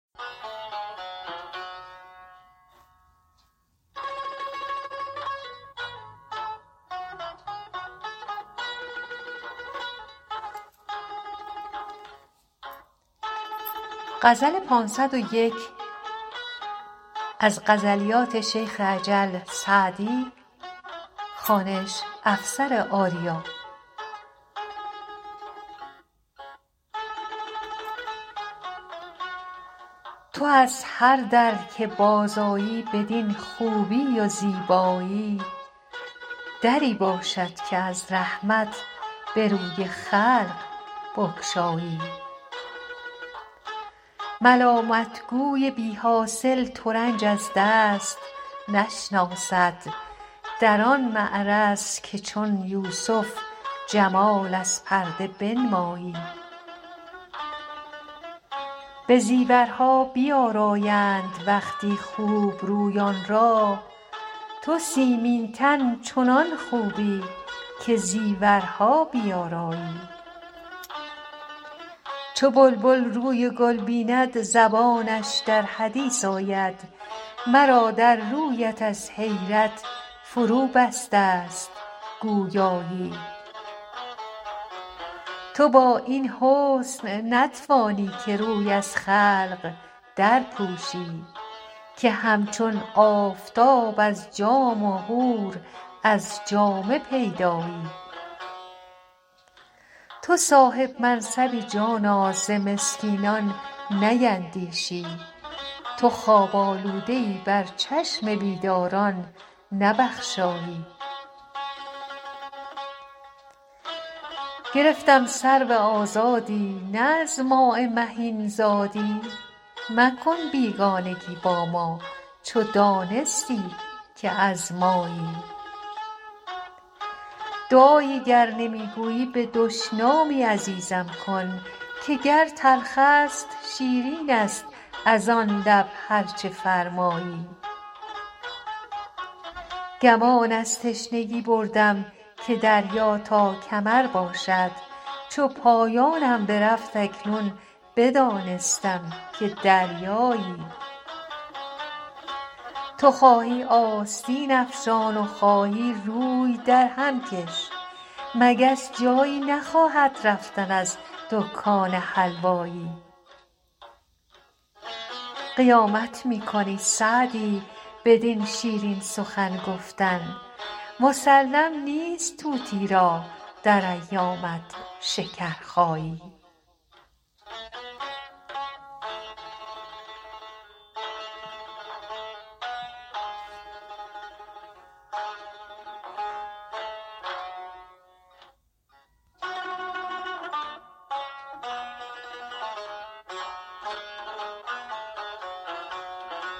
تو از هر در که بازآیی بدین خوبی و زیبایی دری باشد که از رحمت به روی خلق بگشایی ملامت گوی بی حاصل ترنج از دست نشناسد در آن معرض که چون یوسف جمال از پرده بنمایی به زیورها بیآرایند وقتی خوب رویان را تو سیمین تن چنان خوبی که زیورها بیآرایی چو بلبل روی گل بیند زبانش در حدیث آید مرا در رویت از حیرت فروبسته ست گویایی تو با این حسن نتوانی که روی از خلق درپوشی که همچون آفتاب از جام و حور از جامه پیدایی تو صاحب منصبی جانا ز مسکینان نیندیشی تو خواب آلوده ای بر چشم بیداران نبخشایی گرفتم سرو آزادی نه از ماء مهین زادی مکن بیگانگی با ما چو دانستی که از مایی دعایی گر نمی گویی به دشنامی عزیزم کن که گر تلخ است شیرین است از آن لب هر چه فرمایی گمان از تشنگی بردم که دریا تا کمر باشد چو پایانم برفت اکنون بدانستم که دریایی تو خواهی آستین افشان و خواهی روی درهم کش مگس جایی نخواهد رفتن از دکان حلوایی قیامت می کنی سعدی بدین شیرین سخن گفتن مسلم نیست طوطی را در ایامت شکرخایی